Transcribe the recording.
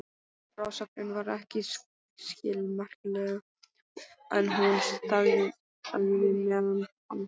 Frásögnin var ekki skilmerkileg en hún þagði meðan hann talaði.